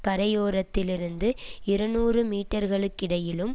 கரையோரத்திலிருந்து இருநூறு மீட்டர்களுக்கிடையிலும்